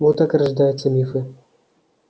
вот так и рождаются мифы